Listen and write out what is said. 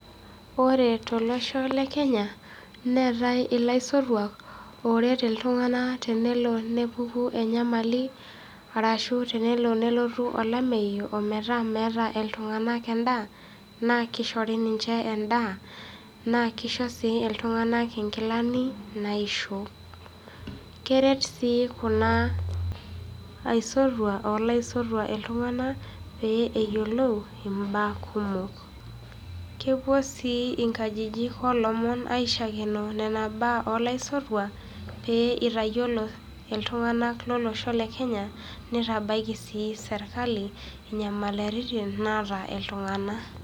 Ore tolosho lekenya, neetai ilaisotuak ooret iltung'anak tenelo nepuku enyamali, arashu tenelo nelotu olameyu, ometaa meeta iltung'anak endaa, naa keishori ninche endaa naa keisho sii iltung'anak inkilani naaishop. Keret sii kuna aisotuak olaisotuak iltung'anak pee eyiolou imbaa kumok. Kepuo sii inkajijik oolomon aishakenoo nena baa oolaisotuak pee eitayiolo iltung'anak lolosho le kenya neitabaiki sii serkali inyamalairitin naata iltung'anak.